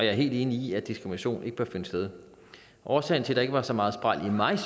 er helt enig i at diskrimination ikke bør finde sted årsagen til der ikke var så meget spræl i mig